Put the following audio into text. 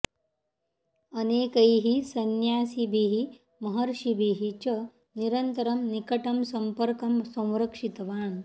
अनेकैः संन्यासिभिः महर्षिभिः च निरन्तरं निकटं सम्पर्कं संरक्षितवान्